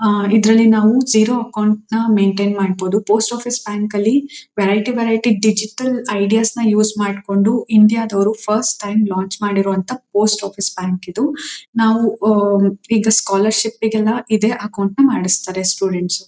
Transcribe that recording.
ಆ ಇದರಲ್ಲಿ ನಾವು ಜೀರೋ ಅಕೌಂಟ್ ನ ಮೈನ್ಟೈನ್ ಮಾಡಬೋದು. ಪೋಸ್ಟ್ ಆಫೀಸ್ ಬ್ಯಾಂಕ್ ಲ್ಲಿ ವೆರೈಟಿ ವೆರೈಟಿ ಡಿಜಿಟಲ್ ಐಡಿಯಾಸ್ ನ ಯೂಸ್ ಮಾಡ್ಕೊಂಡು ಇಂಡಿಯಾ ದವರು ಫಸ್ಟ್ ಟೈಮ್ ಲಾಂಚ್ ಮಾಡಿರೋವಂತಹ ಪೋಸ್ಟ್ ಆಫೀಸ್ ಬ್ಯಾಂಕ್ ಇದು. ನಾವು ಓ ಈಗ ಸ್ಕೊಲರ್ಶಿಪ್ ಗೆಲ್ಲ ಇದೆ ಅಕೌಂಟ್ ನ ಮಾಡಿಸ್ತಾರೆ ಸ್ಟೂಡೆಂಟ್ಸ್ .